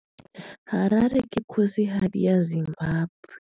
Harare ke kgosigadi ya Zimbabwe.